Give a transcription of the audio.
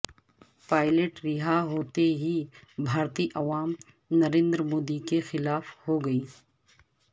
pilot رہا ہوتے ہی بھارتی عوام نریندر مودی کے خلا ف ہوگئی